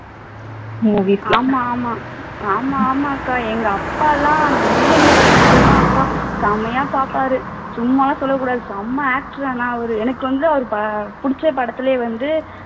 ஆமா ஆமா ஆமா ஆமா அக்கா எங்க அப்பா எல்லாம் முள்ளும் மலரும் படம் அப்பா செமையா பாப்பாரு சும்மாலாம் சொல்ல கூடாது செம actor ஆனா அவரு எனக்கு வந்து அவர் புடிச்ச படத்திலேயே வந்து